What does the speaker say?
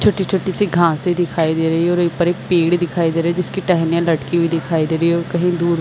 छोटी-छोटी सी घासे दिखाई दे रही और ऊपर एक पेड़ दिखाई दे रहा जिसके टेहेनियाँ लटकी हुई दिखाई दे रही है। और कही दूर--